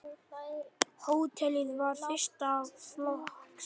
Hótelið var fyrsta flokks.